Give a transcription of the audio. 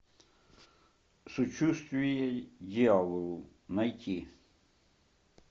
сочувствие дьяволу найти